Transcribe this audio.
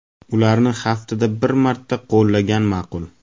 Ularni haftada bir marta qo‘llagan ma’qul.